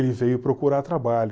Ele veio procurar trabalho?